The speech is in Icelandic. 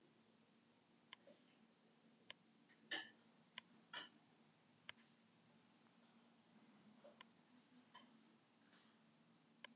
Fölbleikur varaliturinn á sínum stað og pínulítill roði í kinnum auk kinnalitar.